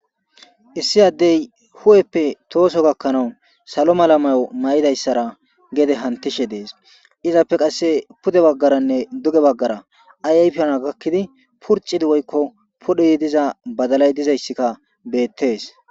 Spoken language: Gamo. Issi Adey hu'eppe toso gakanawu salo mala mayo mayidaysara gede hantishe Des, izappe qase pude bagaranne duge bagara ayfana gakidi purixidi woyko pudhidi diza badalayi dizagsika beetesi.